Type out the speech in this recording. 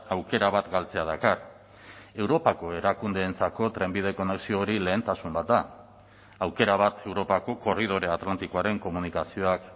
aukera bat galtzea dakar europako erakundeentzako trenbide konexio hori lehentasun bat da aukera bat europako korridore atlantikoaren komunikazioak